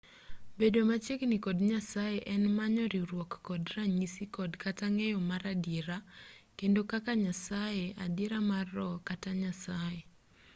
bedo machiegini kod nyasaye en manyo riwruok kod ranyisi kod kata ng'eyo mar adiera bedo kaka nyasaye adiera mar roho kata nyasaye